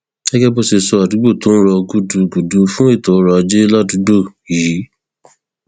gẹgẹ bó ṣe sọ àdúgbò tó ń rọ gúdugùdu fún ètò ọrọ ajé ládùúgbò yìí